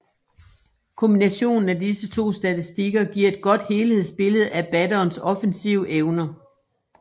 Kombinationen af disse to statistikker giver et godt helhedsbillede af batterens offensive evner